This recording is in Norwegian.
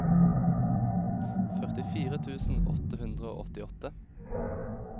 førtifire tusen åtte hundre og åttiåtte